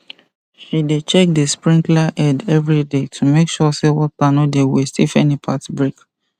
she dey check the sprinkler head every day to make sure say water no dey waste if any part break